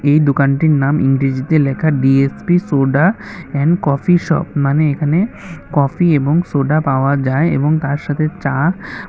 এই দোকানটির নাম ইংরেজিতে লেখা D S P soda and coffee shop মানে এখানে কফি এবং সোডা পাওয়া যায় এবং তার সাথে চা।